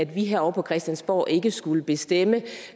vi her på christiansborg ikke skulle bestemme